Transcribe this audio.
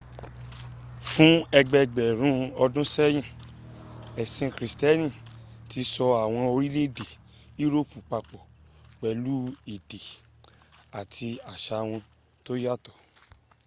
fún ẹgbẹgbẹ̀rùn ọdún sẹ́yìn ẹ̀sì krìstíẹ́nì tí so àwọn orílẹ̀ èdè europe papọ̀ pẹ̀lú èdè àti àṣa wọn tó yàtọ̀